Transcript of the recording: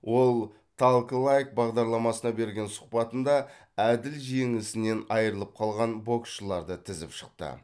ол талк лайк бағдарламасына берген сұхбатында әділ жеңісінен айырылып қалған боксшыларды тізіп шықты